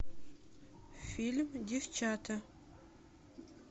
фильм девчата